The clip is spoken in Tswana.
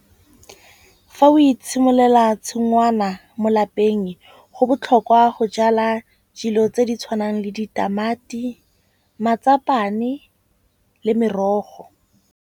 Fa o itshimololela tshingwana mo lapeng go botlhokwa go jala dilo tse di tshwanang le ditamati, matsapane le merogo.